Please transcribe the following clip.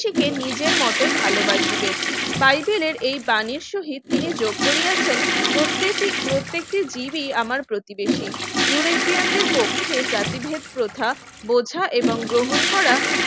থেকে নিজের মতই ভালবাসিবে বাইবেলের এই বানীর সহিত তিনি যোগ করিয়াছেন প্রত্যেকটি প্রত্যেকটি জিবি আমার প্রতিবেশী ইউরোপিয়ানদের পক্ষে জাতিভেদ প্রথা বোঝা এবং গ্রহণ করা